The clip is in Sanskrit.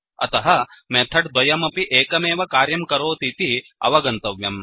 अत्र मेथड् द्वयमपि एकमेव कार्यं करोतीति अवगन्तव्यम्